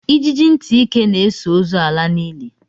Ijiji ntị ike na-eso ozu ala n'ili